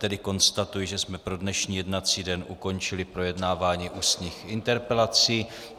Tedy konstatuji, že jsme pro dnešní jednací den ukončili projednávání ústních interpelací.